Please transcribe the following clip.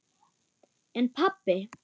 En pabbi?